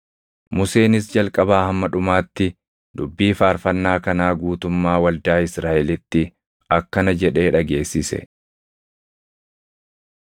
Museenis jalqabaa hamma dhumaatti dubbii faarfannaa kanaa guutummaa waldaa Israaʼelitti akkana jedhee dhageessise: